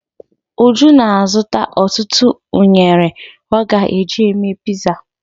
Uju na-azụta ọtụtụ unere ọ ga-eji mee piza.